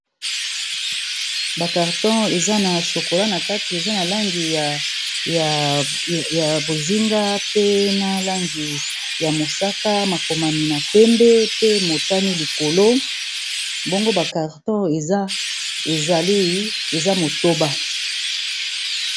Ba karton eza na chokola na kati eza na langi ya bozinga, pena langi ya mosaka, makomami na pembe pe motani likolo bongo ba carton lieza motoba.